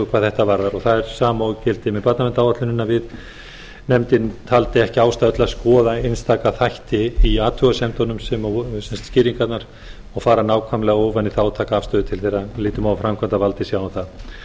hvað þetta varðar það er sama og gildir með barnaverndaráætlunina nefndin taldi ekki ástæðu til að skoða einstaka þætti í athugasemdunum skýringarnar og fara nákvæmlega ofan í það og taka afstöðu til þeirra við lítum á að framkvæmdarvaldið sjái um það